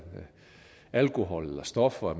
alkohol eller stoffer